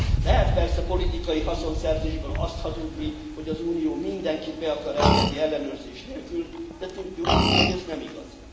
Lehet persze politikai haszonszerzésből azt hazudni, hogy az Unió mindenkit be akar engedni ellenőrzés nélkül, de tudjuk, hogy ez nem igaz.